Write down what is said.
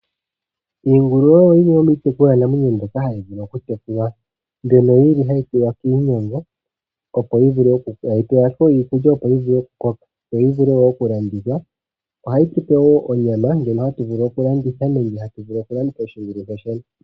Iingulu oyo yimwe yo mitekulwanamwenyo mbyoka hayi vulu okutekulwa mbyono yili hayi pewa iikulya opo yivule oku koka. Yo yivule oku landithwa. Ohayi tupe woo onyama ndjono hayi vulu okulandithwa nenge okulongitha onga osheelelwa.